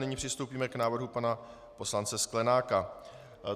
Nyní přistoupíme k návrhu pana poslance Sklenáka.